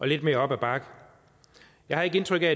lidt mere op ad bakke jeg har ikke indtryk af